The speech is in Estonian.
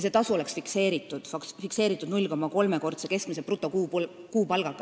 See tasu on fikseeritud 0,3-kordse keskmise brutokuupalgaga.